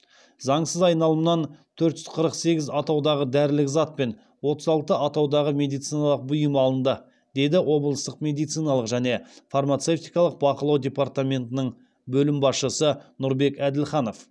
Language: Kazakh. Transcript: заңсыз айналымнан төрт жүз қырық сегіз атаудағы дәрілік зат пен отыз алты атаудағы медициналық бұйым алынды деді облыстық медициналық және фармацевтикалық бақылау департаментінің бөлім басшысы нұрбек әділханов